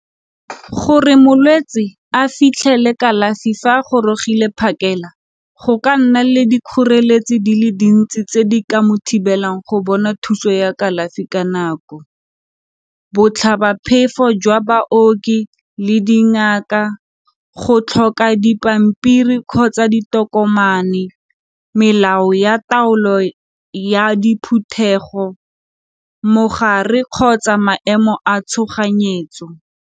Gore molwetsi a fitlhele kalafi fa a gorogile phakela, go ka nna le dikgoreletsi di le dintsi tse di ka mo thibelang go bona thuso ya kalafi ka nako. Botlhabaphefo jwa baoki le dingaka, go tlhoka dipampiri kgotsa ditokomane melao ya taolo ya diphuthego, mogare kgotsa maemo a tshoganyetso.